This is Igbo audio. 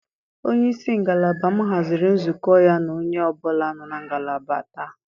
Onye isi ngalaba m haziri nzukọ ya na onye ọ bụla nọ na ngalaba taa.